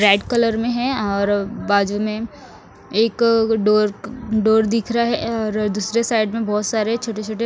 red colour में है और बाजू में एक डोर डोर दिख रहा है और दूसरे साइड में बहुत सारे छोटे छोटे--